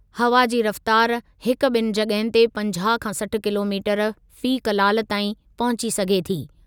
हवा जी रफ़्तारु हिकु ॿिनि जॻहुनि ते पंजाहु खां सठ किलोमीटर फ़ी कलाल ताईं पहुची सघे थी।